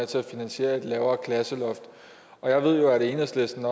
til at finansiere et lavere klasseloft jeg ved jo at enhedslisten